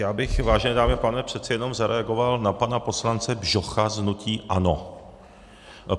Já bych, vážené dámy a pánové, přece jenom zareagoval na pana poslance Bžocha z hnutí ANO.